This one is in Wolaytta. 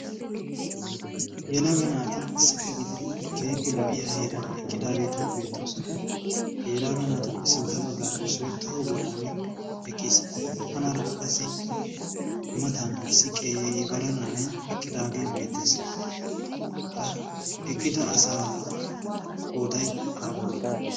yelaaga naati issippe gididi keefe lo"iya heeran eqqidaageeti beettoosona ha yelaaga naatuppe sintta baggaara issoi toho bollan eqqiis anaarakka qassi matan issi qeebara na'ay eqqidaagee beettees ha eqqida asa qooday aapune?